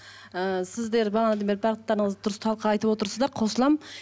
ыыы сіздер бағанадан бері барлықтарыңыз дұрыс талқы айтывотырсыздар қосыламын